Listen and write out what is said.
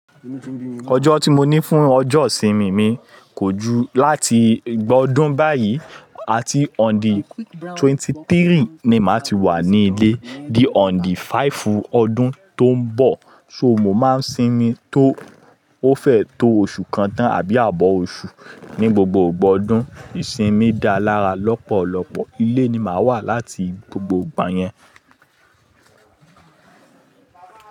Ọjọ́ tí mo ní fún ọjọ́ ìsinmi mi kò ju láti igba ọdún báyìí, àti on the twenty three ni màá ti wà ní ilé. Di on the five ọdún tó ń bọ̀. So mó máa ń sinmi tó ó fẹ́ tó oṣù kan tán àbí àbọ̀ oṣù. Ni gbogbo gba ọdún ìsinmi dá lára lọ́pọ̀lọ́pọ̀. Ilé ni màá wà láti gbogbo ìgbà yẹn.